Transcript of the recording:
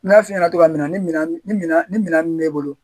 N y'a f'i ɲɛna cogoya min na ni minan ni minan min b'e bolo